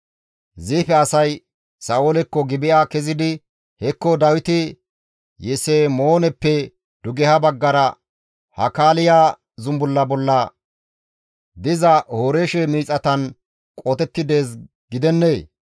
Ziife asay Sa7oolekko Gibi7a kezidi, «Hekko Dawiti Yesemooneppe dugeha baggara Hakaaliya zumbulla bolla diza Horeeshe miixatan qotetti dees gidennee?